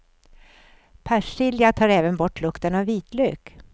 Persilja tar även bort lukten av vitlök.